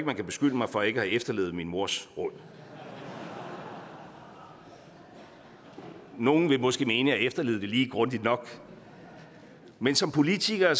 man kan beskylde mig for ikke at have efterlevet min mors råd nogle vil måske mene at efterlevet det lige grundigt nok men som politikere